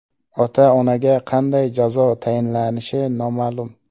Ota-onaga qanday jazo tayinlanishi noma’lum.